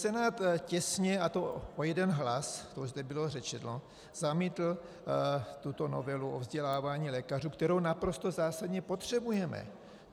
Senát těsně, a to o jeden hlas, to už zde bylo řečeno, zamítl tuto novelu o vzdělávání lékařů, kterou naprosto zásadně potřebujeme.